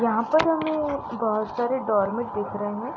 यहाँ पर हमे बोहोत सारे डोरमेट दिख रहे है।